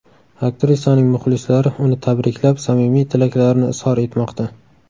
Aktrisaning muxlislari uni tabriklab, samimiy tilaklarini izhor etmoqda.